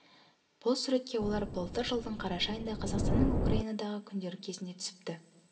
бұл суретке олар былтыр жылдың қараша айында қазақстанның украинадағы күндері кезінде түсіпті